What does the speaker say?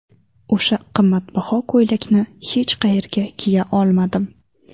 O‘sha qimmatbaho ko‘ylakni hech qayerga kiya olmadim.